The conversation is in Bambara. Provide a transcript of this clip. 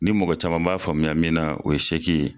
Ni mɔgɔ caman b'a faamuya min na o ye sɛki ye